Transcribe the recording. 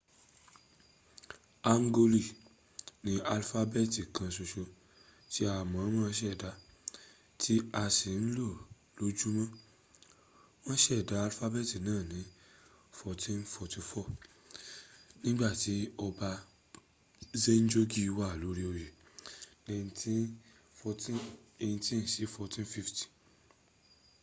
hangooli ni alifabeeti kan soso ti a moomo seda ti a si n lo lojumo. won seda alifabeeti naa ni 1444 nigbati oba sejongi wa lori oye 1418 - 1450